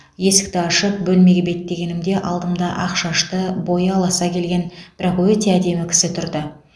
есікті ашып бөлмеге беттегенімде алдымда ақ шашты бойы аласа келген бірақ өте әдемі кісі тұрды